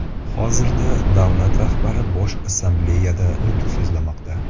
Hozirda davlat rahbari Bosh Assambleyada nutq so‘zlamoqda.